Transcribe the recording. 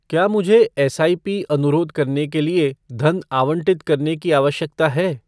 क्या मुझे एसआईपी अनुरोध करने के लिए धन आवंटित करने की आवश्यकता है?